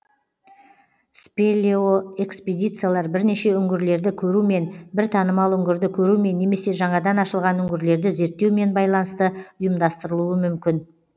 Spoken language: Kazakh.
спелеоэкспедициялар бірнеше үңгірлерді көрумен бір танымал үңгірді көрумен немесе жаңадан ашылған үңгірлерді зерттеумен байланысты ұйымдастырылуы мүмкін